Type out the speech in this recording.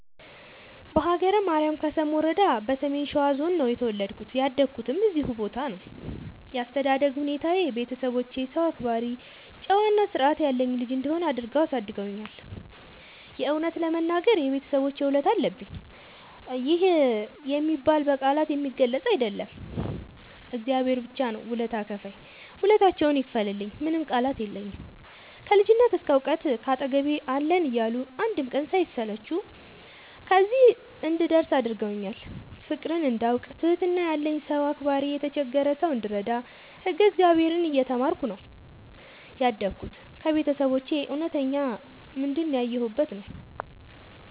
በሀገረ ማርያም ከሰም ወረዳ በሰሜን ሸዋ ዞን ነው የተወለድኩት ያደኩትም እዚሁ ቦታ ነው። ያስተዳደግ ሁኔታዬ ቤተሰቦቼ ሰው አክባሪ ጨዋ እና ስርዐት ያለኝ ልጅ እንድሆን አድርገው አሳድገውኛል። የእውነት ለመናገር የቤተሰቦቼ ውለታ አለብኝ ይህ የሚባል በቃላት የሚገለፅ አይደለም እግዚአብሔር ብቻ ነው ውለታ ከፍይ ውለታቸውን ይክፈልልኝ ምንም ቃላት የለኝም። ከልጅነት እስከ ዕውቀት ካጠገቤ አለን እያሉ አንድም ቀን ሳይሰለቹ ከዚህ እንድደርስ አድርገውኛል። ፍቅርን እንዳውቅ ትህትና ያለኝ ሰው አክባሪ የተቸገረ ሰው እንድረዳ ህግ እግዚአብሔርን እየተማርኩ ነው ያደግሁት ከቤተሰቦቼ እውነተኛ ምንድን ያየሁበት ነው።